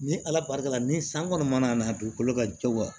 Ni ala barika la ni san kɔni mana na dugukolo ka jɛ wa